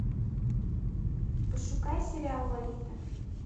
пошукай сериал лолита